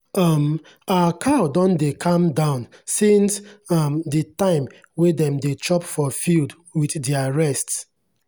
um our cow don dey calm down since um the time wey dem dey chop for field with their rest.